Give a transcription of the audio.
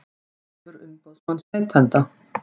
Vefur umboðsmanns neytenda